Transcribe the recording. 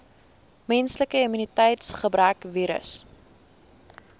menslike immuniteitsgebrekvirus